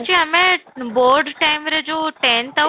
ଛି ଆମେ board time ରେ ଯୋଉ tenth ଆଉ